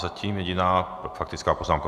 Zatím jediná faktická poznámka.